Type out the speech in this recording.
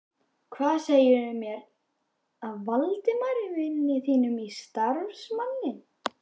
Hvað segir þú mér af Valdimari vini þínum og samstarfsmanni?